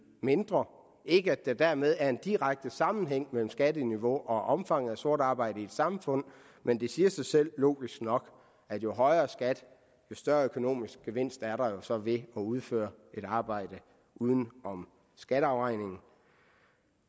mindre ikke at der dermed er en direkte sammenhæng mellem skatteniveauet og omfanget af sort arbejde i et samfund men det siger sig selv logisk nok at jo højere skat jo større økonomisk gevinst er der jo så ved at udføre et arbejde uden om skatteafregningen